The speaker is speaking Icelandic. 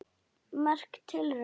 Merk tilraun